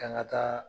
K'an ka taa